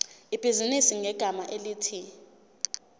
ibhizinisi ngegama elithi